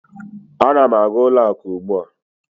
Ana m aga ụlọ akụ ugbu a.